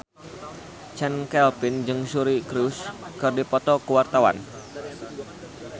Chand Kelvin jeung Suri Cruise keur dipoto ku wartawan